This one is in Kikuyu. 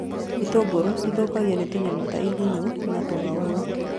Itũngũrũ cithũkagio nĩ tũnyamũ ta igunyũ na tũng'aurũ